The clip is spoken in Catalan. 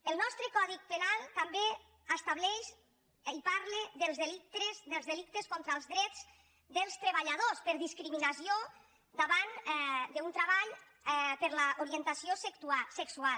el nostre codi penal també estableix i parla dels delictes contra els drets dels treballadors per discriminació davant d’un treball per l’orientació sexual